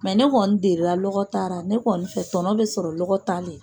Mɛ ne kɔni delila lɔgɔ tara, ne kɔni fɛ tɔnɔ bɛ sɔrɔ lɔgɔ ta nin na.